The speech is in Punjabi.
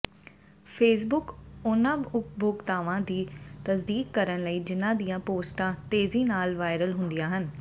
ਫੇਸਬੁੱਕ ਉਨ੍ਹਾਂ ਉਪਭੋਗਤਾਵਾਂ ਦੀ ਤਸਦੀਕ ਕਰਨ ਲਈ ਜਿਨ੍ਹਾਂ ਦੀਆਂ ਪੋਸਟਾਂ ਤੇਜ਼ੀ ਨਾਲ ਵਾਇਰਲ ਹੁੰਦੀਆਂ ਹਨ